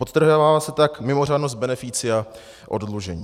Podtrhává se tak mimořádnost beneficia oddlužení.